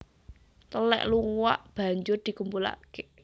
Telèk luwak banjur dikumpulake